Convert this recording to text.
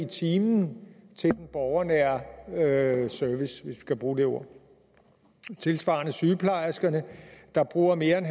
time til den borgernære service hvis vi kan bruge det ord tilsvarende sygeplejerskerne der bruger mere end